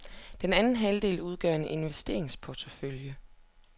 Den anden halvdel udgør en investeringsportefølje.